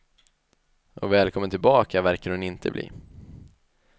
Och välkommen tillbaka verkar hon inte bli.